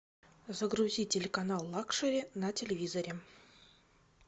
загрузи телеканал лакшери на телевизоре